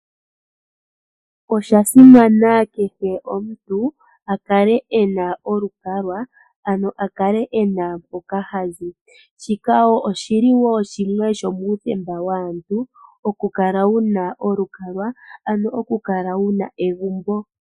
Osha simana kehe omuntu akale ena olukalwa ano akale ena mpoka hazi, shika wo oshili wo shimwe shomuuthemba waantu okukala wuna olukalwa, ano oku kala wu na egumbo.